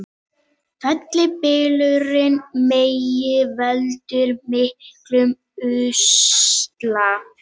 Fellibylurinn Megi veldur miklum usla